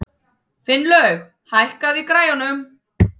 Finnlaug, hækkaðu í græjunum.